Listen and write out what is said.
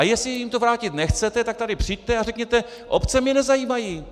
A jestli jim to vrátit nechcete, tak sem přijďte a řekněte obce mě nezajímají!